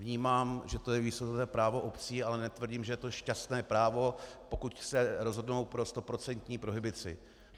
Vnímám, že to je výsostné právo obcí, ale netvrdím, že je to šťastné právo, pokud se rozhodnou pro stoprocentní prohibici.